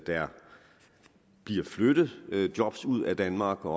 der bliver flyttet job ud af danmark og